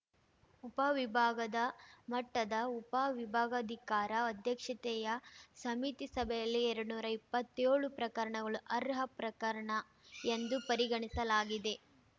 ಉಪ ವಿಭಾಗದ ಮಟ್ಟದ ಉಪ ವಿಭಾಗಾಧಿಕಾರ ಅಧ್ಯಕ್ಷತೆಯ ಸಮಿತಿ ಸಭೆಯಲ್ಲಿ ಎರಡ್ ನೂರಾ ಇಪ್ಪತ್ತೇಳು ಪ್ರಕರಣಗಳು ಅರ್ಹ ಪ್ರಕರಣ ಎಂದು ಪರಿಗಣಿಸಲಾಗಿದೆ